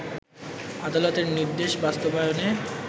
আদালতের নির্দেশ বাস্তবায়নে